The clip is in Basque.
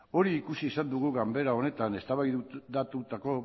hori ikusi izan dugu ganbara honetan eztabaidatutako